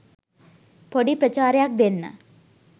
පොඩි ප්‍රචාරයක් දෙන්න.